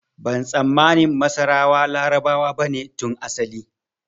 Ban tsammani masarawa Larabawa bane tun asali